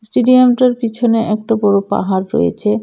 স্টেডিয়ামটার পিছনে একটা বড় পাহাড় রয়েছে.